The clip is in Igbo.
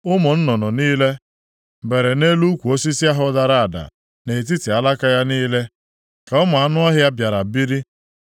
Ụmụ nnụnụ niile bere nʼelu ukwu osisi ahụ dara ada, nʼetiti alaka ya niile ka ụmụ anụ ọhịa bịara biri.